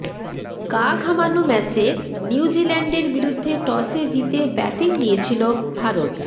গা ঘামানো ম্যাচে নিউজিল্যান্ডের বিরুদ্ধে টসে জিতে ব্যাটিং নিয়েছিল ভারত